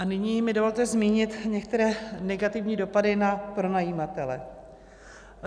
A nyní mi dovolte zmínit některé negativní dopady na pronajímatele.